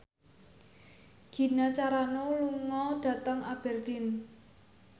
Gina Carano lunga dhateng Aberdeen